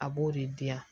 A b'o de di yan